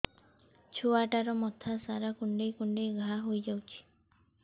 ଛୁଆଟାର ମଥା ସାରା କୁଂଡେଇ କୁଂଡେଇ ଘାଆ ହୋଇ ଯାଇଛି